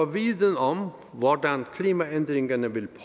viden om hvordan klimaændringerne vil